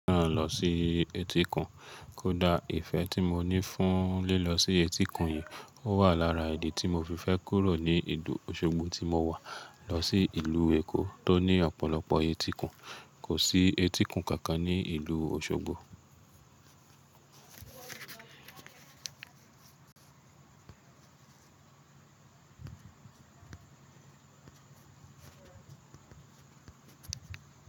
Rán lọ sí etíkun, kódà ìfẹ́ tí mo ní fún lílọ sí etíkun yìí, ó wà lára ìdí tí mo fi fẹ́ kúrò ní ìlú Osogbo tí mo wà lọ sí ìlú Èkó tó ní ọ̀pọ̀lọpọ̀ etíkun. Kò sí etíkun kankan ní ìlú Osogbo.